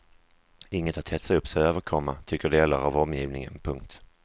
Inget att hetsa upp sig över, komma tycker delar av omgivningen. punkt